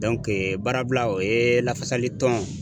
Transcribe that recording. baarabila o ye lafasali tɔn